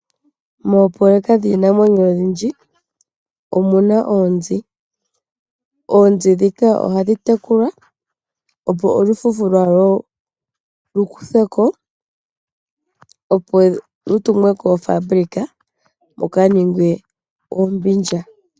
Moopoloweka dhiinamwenyo odhindji omuna oonzi. Oonzi ndhika ohadhi tekulwa opo olufufu lwadho lukuthweko . Opo lutumwe koofaabulika luka ningwe oombindja.